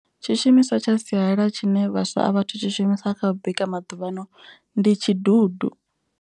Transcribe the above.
Tshishumiswa tsha sialala tshine vhaswa a vhathu tshishumisa kha u bika maḓuvhano ndi tshidudu.